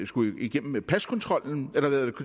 skulle igennem